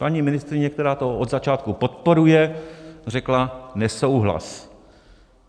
Paní ministryně, která to od začátku podporuje, řekla: nesouhlas.